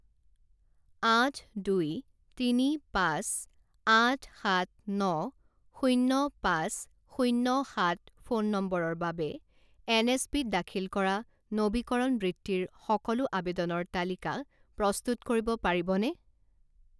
আঠ দুই তিনি পাঁচ আঠ সাত ন শূণ্য পাঁচ শূণ্য সাত ফোন নম্বৰৰ বাবে এনএছপিত দাখিল কৰা নবীকৰণ বৃত্তিৰ সকলো আবেদনৰ তালিকা প্ৰস্তুত কৰিব পাৰিবনে?